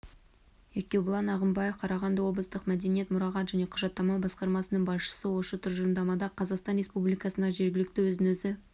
еркебұлан ағымбаев қарағанды облыстық мәдениет мұрағат және құжаттама басқармасының басшысы осы тұжырымдамада қазақстан республикасындағы жергілікті өзін-өзі